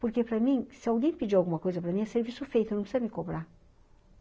Porque, para mim, se alguém pedir alguma coisa para mim, é serviço feito, não precisa me cobrar.